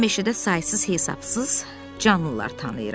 Mən meşədə saysız-hesabsız canlılar tanıyıram.